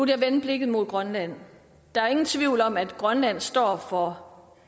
jeg vende blikket mod grønland der er ingen tvivl om at grønland står over for